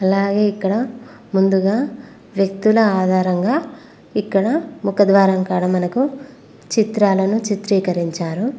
అలాగే ఇక్కడ ముందుగా వ్యక్తుల ఆధారంగా ఇక్కడ ముఖద్వారం కాడ మనకు చిత్రాలను చిత్రీకరించారు.